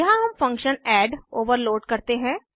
यहाँ हम फंक्शन addऐड ओवरलोड करते हैं